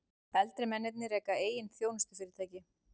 Eldri mennirnir reka eigin þjónustufyrirtæki